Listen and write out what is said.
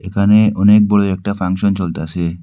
এখানে অনেক বড় একটা ফাংশন চলতাসে।